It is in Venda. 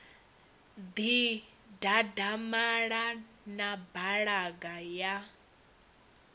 ḓi dadamala na balaga ya